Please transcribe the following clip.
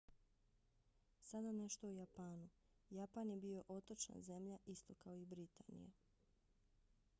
sada nešto o japanu. japan je bio otočna zemlja isto kao i britanija